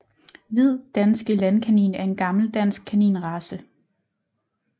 Hvid danske landkanin er en gammel dansk kaninrace